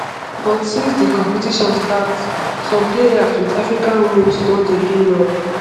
but since di competition start some players wit african roots don dey do well.